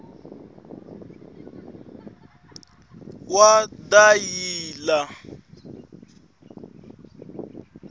wadayila